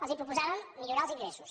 els proposàvem millorar els ingressos